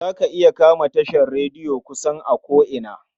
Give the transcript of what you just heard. Za ka iya kama tashar rediyo kusan a ko'ina.